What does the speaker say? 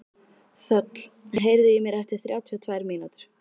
Þöll, heyrðu í mér eftir þrjátíu og tvær mínútur.